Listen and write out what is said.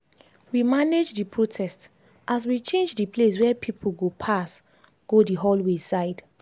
we manage the protest as we change the place where people go pass go the hallway side